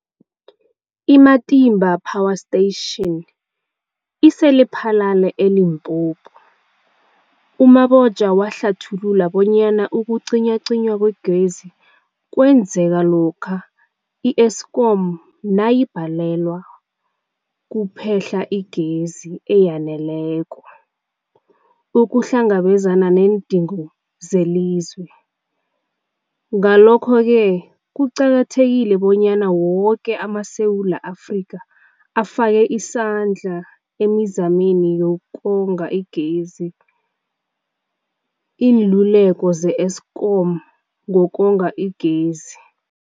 I-Matimba Power Station ise-Lephalale, eLimpopo. U-Mabotja wahlathulula bonyana ukucinywacinywa kwegezi kwenzeka lokha i-Eskom nayibhalelwa kuphe-hla igezi eyaneleko ukuhlangabezana neendingo zelizwe. Ngalokho-ke kuqakathekile bonyana woke amaSewula Afrika afake isandla emizameni yokonga igezi. Iinluleko ze-Eskom ngokonga igezi.